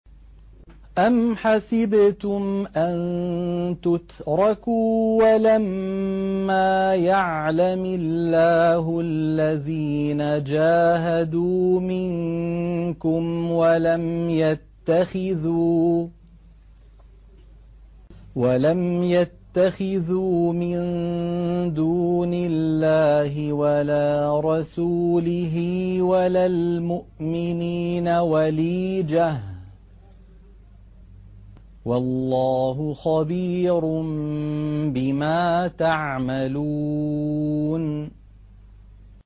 أَمْ حَسِبْتُمْ أَن تُتْرَكُوا وَلَمَّا يَعْلَمِ اللَّهُ الَّذِينَ جَاهَدُوا مِنكُمْ وَلَمْ يَتَّخِذُوا مِن دُونِ اللَّهِ وَلَا رَسُولِهِ وَلَا الْمُؤْمِنِينَ وَلِيجَةً ۚ وَاللَّهُ خَبِيرٌ بِمَا تَعْمَلُونَ